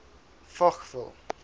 fochville